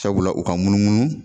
Sabula u ka munumunu.